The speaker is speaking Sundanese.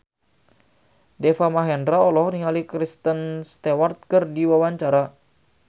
Deva Mahendra olohok ningali Kristen Stewart keur diwawancara